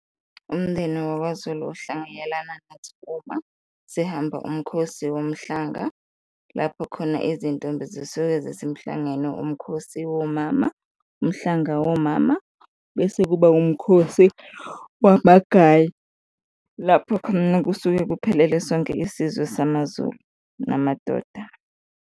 Umndeni wakwaZulu uhlanganyelana nathi uma sihamba uMkhosi Womhlanga, lapho khona izintombi zisuke zisemhlangeni, uMkhosi womama, uMhlanga womama bese kuba uMkhosi wamagaye, lapho khona kusuke kuphelele sonke isizwe samaZulu namadoda.